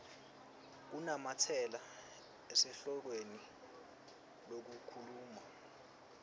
kunamatsela esihlokweni lokhuluma